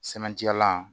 Sɛbɛntiyalan